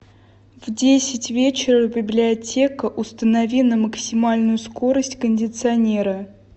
в десять вечера библиотека установи на максимальную скорость кондиционера